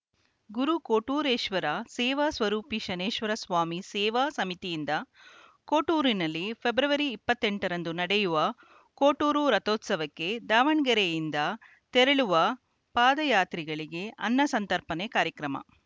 ಗುರು ಕೊಟ್ಟೂರೇಶ್ವರ ಸೇವಾ ಸ್ವರೂಪಿ ಶನೇಶ್ವರ ಸ್ವಾಮಿ ಸೇವಾ ಸಮಿತಿಯಿಂದ ಕೊಟ್ಟೂರಿನಲ್ಲಿ ಫೆಬ್ರವರಿ ಇಪ್ಪತ್ತೆಂಟರಂದು ನಡೆಯುವ ಕೊಟ್ಟೂರು ರಥೋತ್ಸವಕ್ಕೆ ದಾವಣಗೆರೆಯಿಂದ ತೆರಳುವ ಪಾದಯಾತ್ರಿಗಳಿಗೆ ಅನ್ನ ಸಂತರ್ಪಣೆ ಕಾರ್ಯಕ್ರಮ